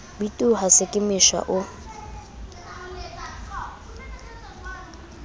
bitoha se ka mesha o